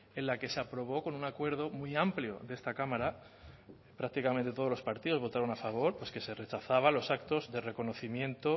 en la que se aprobó con un acuerdo muy amplio de esta cámara prácticamente todos los partidos votaron a favor pues que se rechazaba los actos de reconocimiento